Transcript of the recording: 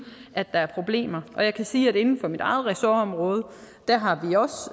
at der er problemer jeg kan sige at vi inden for mit eget ressortområde